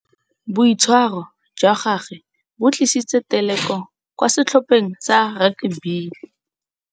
Boitshwarô jwa gagwe bo tlisitse têlêkô kwa setlhopheng sa rakabii.